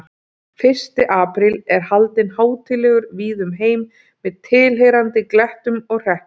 Fyrsti apríl er haldinn hátíðlegur víða um heim með tilheyrandi glettum og hrekkjum.